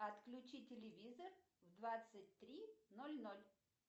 отключи телевизор в двадцать три ноль ноль